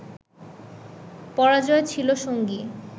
পরাজয় ছিল সঙ্গী